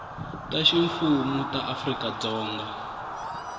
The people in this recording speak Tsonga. ta ximfumu ta afrika dzonga